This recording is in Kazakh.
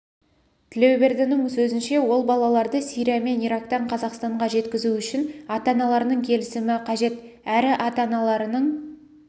тілеубердінің сөзінше ол балаларды сирия мен ирактан қазақстанға жеткізу үшін ата-аналарының келісімі қажет әрі ата-аналарының